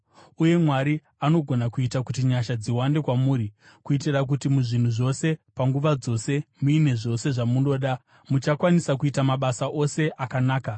Uye Mwari anogona kuita kuti nyasha dziwande kwamuri, kuitira kuti muzvinhu zvose, panguva dzose, muine zvose zvamunoda, muchakwanisa kuita mabasa ose akanaka.